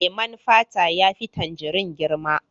Leman fata ya fi tangirin girma.